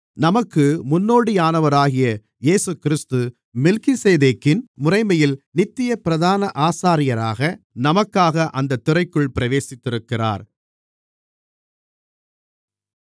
நமக்கு முன்னோடியானவராகிய இயேசுகிறிஸ்து மெல்கிசேதேக்கின் முறைமையில் நித்திய பிரதான ஆசாரியராக நமக்காக அந்தத் திரைக்குள் பிரவேசித்திருக்கிறார்